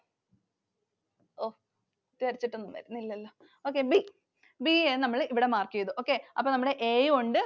വരച്ചിട്ടു ഒന്നും വരുന്നില്ലലോ. Okay B എന്ന് നമ്മൾ ഇവിടെ mark ചെയ്‌തു. Okay. അപ്പൊ നമ്മടെ A യും ഉണ്ട്